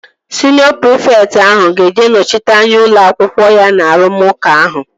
Siniọ prịfekt ahụ ga-eje nọchite anya ụlọ akwụkwọ ya na arụmụka ahụ